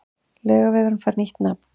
Laugavegurinn fær nýtt nafn